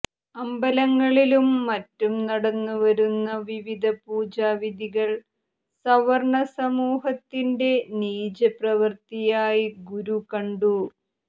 അമ്പലങ്ങളിലും മറ്റും നടന്നു വരുന്ന വിവിധ പുജാ വിധികൾ സവർണ്ണ സമൂഹത്തിന്റെ നീച പ്രവർത്തിയായ് ഗുരു കണ്ടു